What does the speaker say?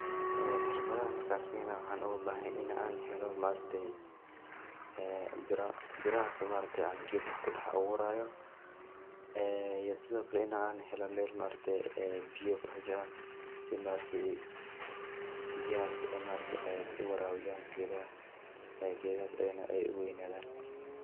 Xirfadahan marka aan sameynayo waxaan oga bahanyahy in aan helo ma aragtay ee bira birahaso ma araktay geedaha kudax abuurayo ee iyo sidokale in aan helo mel biya kudax jiran si ma aragte biyahas u warabiyaan geedaha geedahas ayagana u waynadaan.